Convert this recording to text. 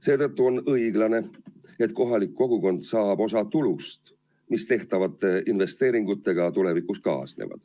Selle tõttu on õiglane, et kohalik kogukond saab osa tulust, mis tänu tehtavatele investeeringutele tulevikus kaasneb.